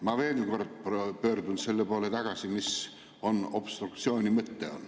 Ma veel kord pöördun tagasi selle juurde, mis on obstruktsiooni mõte.